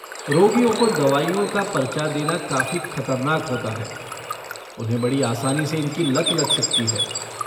रोगियों को दवाइयों का पर्चा देना काफी खतरनाक होता है, उन्हें बड़ी आसानी से इनकी लत लग सकती है।